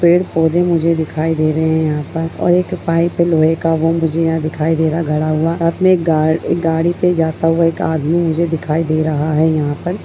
पेड़ पौधे मुझे दिखाई दे रहे हैं मुझे यहां पर और एक पाइप है लोहे का वो मुझे यहाँ दिखाई दे रहा है गड़ा हुआ अपने गा गाड़ी पे जाता हुआ एक आदमी मुझे दिखाई दे रहा है यहां पर ।